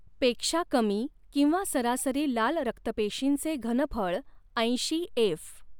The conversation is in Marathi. पेक्षा कमी किंवा सरासरी लाल रक्तपेशींचे घनफळ ऐंशी एफ.